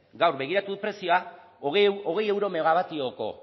gaur begiratu dut prezioa hogei euro megabatioko